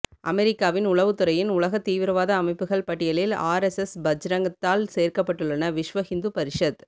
அமெரிக்காவின் உளவுத்துறையின் உலக தீவிரவாத அமைப்புகள் பட்டியலில் ஆர்எஸ்எஸ் பஜ்ரங்தாள் சேர்க்கபட்டுள்ளன விஸ்வ ஹிந்து பரிஸத்